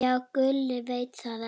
Já, Gulli veit þetta allt.